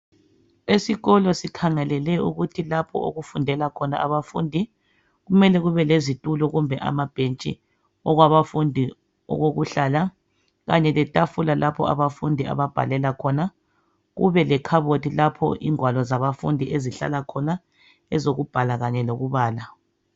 Esikolo sikhangelele ukuthi lapho okufundela khona abafundi kumele kube lezitulo kumbe amabhentshi okwabafundi okokuhlala Kanye letafula lapho abafundi ababhalela khona kube lekhabothi ingwalo zabafundi ezihlala khona ezokubhala Kanye lokubala.